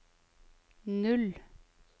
null